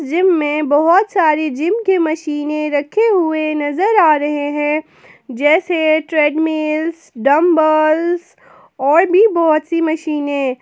Gym में बहोत सारी जिम की मशीने रखे हुए नजर आ रहे हैं जैसे ट्रेडमिल्स डंबल्स और भी बहुत सी मशीने।